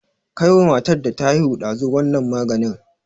Kai wa matar da ta haihu ɗazu wannan maganin!